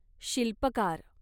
शिल्पकार